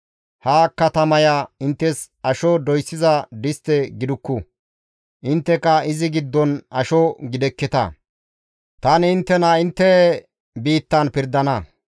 Ha katamaya inttes asho doyssiza distte gidukku; intteka izi giddon asho gidekketa. Tani inttena intte biittan pirdana.